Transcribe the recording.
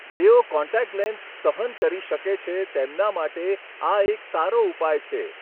જેઓ contact lens સહન કરી શકે છે તેમના માટે આ એક સારો ઉપાય છે.